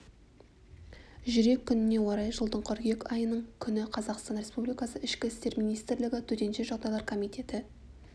жүрек күніне орай жылдың қыркүйек айының күні қазақстан республикасы ішкі істер министрлігі төтенше жағдайлар комитеті